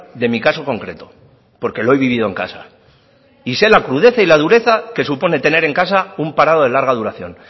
de mi caso concreto porque lo he vivido en casa y sé la crudeza y la dureza que supone tener en casa un parado de larga duración